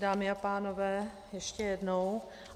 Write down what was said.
Dámy a pánové, ještě jednou.